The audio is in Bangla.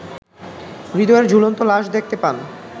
হৃদয়ের ঝুলন্ত লাশ দেখতে পান।